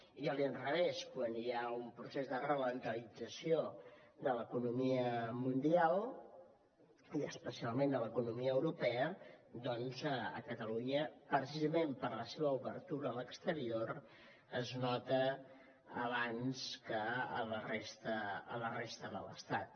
i a l’inrevés quan hi ha un procés d’alentiment de l’economia mundial i especialment de l’economia europea doncs a catalunya precisament per la seva obertura a l’exterior es nota abans que a la resta de l’estat